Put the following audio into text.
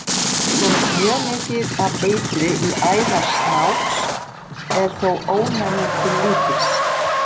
Komist mjög mikið af eitri í æðar snáks er þó ónæmið til lítils.